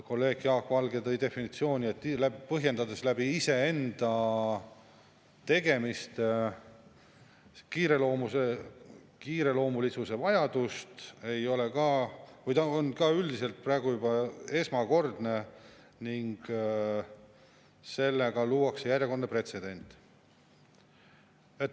Kolleeg Jaak Valge ütles, et iseenda tegemiste kiireloomulisuse vajaduse põhjendamine on praegu esmakordne ning sellega luuakse järjekordne pretsedent.